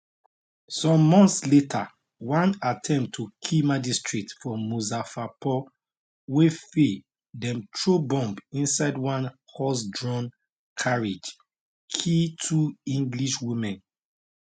some months later one attempt to kill magistrate for muzaffarpur wey fail dem throw bomb inside one horsedrawn carriage kill two english women